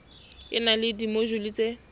e na le dimojule tse